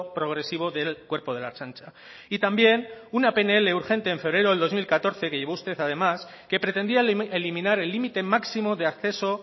progresivo del cuerpo de la ertzaintza y también un pnl urgente en febrero de dos mil catorce que llevó usted además que pretendía eliminar el límite máximo de acceso